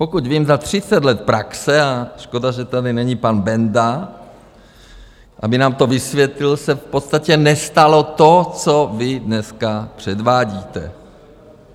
Pokud vím, za třicet let praxe - a škoda, že tady není pan Benda, aby nám to vysvětlil - se v podstatě nestalo to, co vy dneska předvádíte.